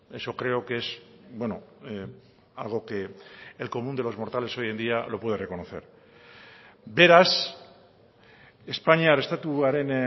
eso creo que es algo que el común de los mortales hoy en día lo puede reconocer beraz espainiar estatuaren